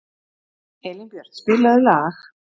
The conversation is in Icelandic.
Elínbjört, spilaðu lag.